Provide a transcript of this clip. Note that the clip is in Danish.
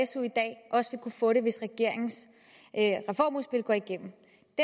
su i dag også vil kunne få det hvis regeringens reformudspil går igennem